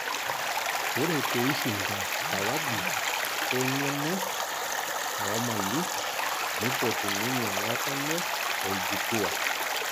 Ore peishinda sawadi e eng'eno oomali nipotu ninye ng'otonye o;ljukua